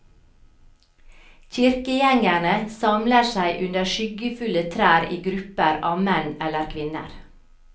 Kirkegjengerne samler seg under skyggefulle trær i grupper av menn eller kvinner.